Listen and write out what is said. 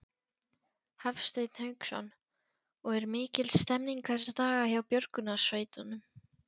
Hafsteinn Hauksson: Og er mikil stemning þessa daga hjá björgunarsveitunum?